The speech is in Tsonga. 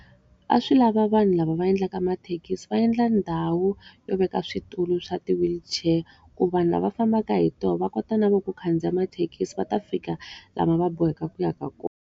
A swi lava vanhu lava va endlaka mathekisi va endla ndhawu, yo veka switulu swa ti-wheelchair. Ku vanhu lava fambaka hi tona va kota na vona ku khandziya mathekisi va ta fika laha va boheka ku ya ka kona.